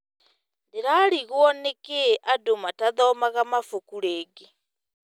Ndĩrarigwo nĩ kĩ andũ matathomaga mabuku rĩngĩ.